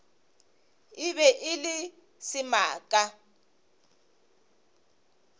e be e le semaka